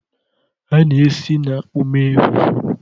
A na-esi na akpu mee fufu